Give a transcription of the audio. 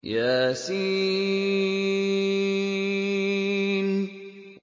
يس